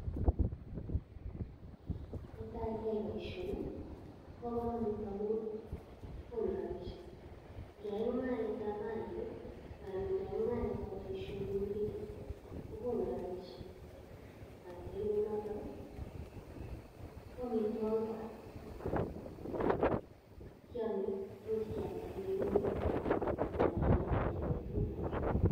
Netai ingeyai boishonii koboo komonut amun konuu rabisiek. Ingeyai mungaretab mainik anan ingeyai mung'aretab boishoni mii pichait i,kokonu rabisiek.Ai ak nerube notok ko amitwogiik kora, kiome imuch keamdaa koik ing'wek anan ialde ialen tugun alak.